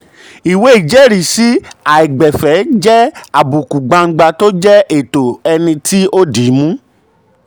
um ìwé ìjẹ́risi aìgbẹ̀fẹ̀ jẹ́ àbùkù gbangba tó jẹ́ ẹ̀tọ́ ẹni um tó di í mú. um